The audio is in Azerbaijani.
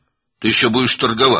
Sən hələ bazarlıq edəcəksən.